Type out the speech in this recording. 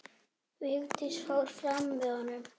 Vigdís fór fram með honum.